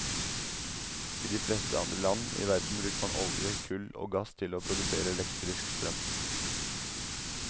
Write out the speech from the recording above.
I de fleste andre land i verden bruker man olje, kull og gass til å produsere elektrisk strøm.